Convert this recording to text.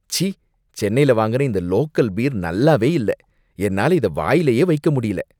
ச்சீ! சென்னைல வாங்குன இந்த லோக்கல் பீர் நல்லாவே இல்ல, என்னால இத வாயிலேயே வைக்க முடியல